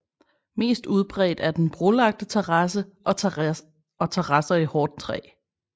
Mest udbredt er den brolagte terrasse og terrasser i hårdt træ